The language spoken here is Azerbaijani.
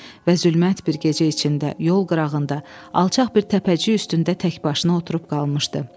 Və zülmət bir gecə içində yol qırağında alçaq bir təpəcik üstündə tək başına oturub qalmışdı.